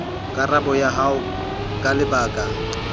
karabo ya hao ka lebaka